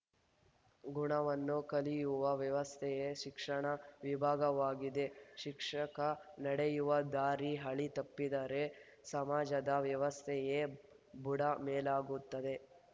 ಗುಣವನ್ನು ಕಲಿಯುವ ವ್ಯವಸ್ಥೆಯೆ ಶಿಕ್ಷಣ ವಿಭಾಗವಾಗಿದೆ ಶಿಕ್ಷಕ ನಡೆಯುವ ದಾರಿ ಹಳಿ ತಪ್ಪಿದರೆ ಸಮಾಜದ ವ್ಯವಸ್ಥೆಯೇ ಬುಡ ಮೇಲಾಗುತ್ತದೆ